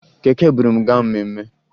Keke buru m gaa mmemme